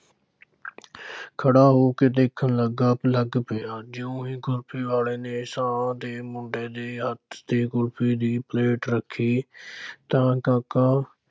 ਖੜ੍ਹਾ ਹੋ ਕੇ ਦੇਖਣ ਲੱਗਾ ਲੱਗ ਪਿਆ, ਜਿਉਂ ਹੀ ਕੁਲਫ਼ੀ ਵਾਲੇ ਨੇ ਸ਼ਾਹਾਂ ਦੇ ਮੁੰਡੇ ਦੇ ਹੱਥ ਤੇ ਕੁਲਫ਼ੀ ਦੀ ਪਲੇਟ ਰੱਖੀ ਤਾਂ ਕਾਕਾ